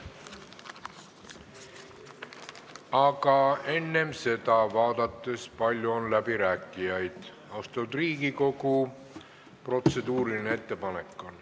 Aga enne seda, vaadates, kui palju on läbirääkijaid, austatud Riigikogu, on protseduuriline ettepanek.